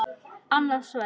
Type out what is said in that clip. Annað sverð.